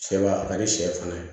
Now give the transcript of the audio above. Sɛba a ka di sɛ fana ye